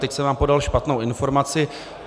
Teď jsem vám podal špatnou informaci.